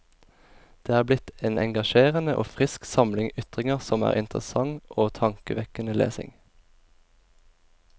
Det er blitt en engasjerende og frisk samling ytringer som er interessant og tankevekkende lesning.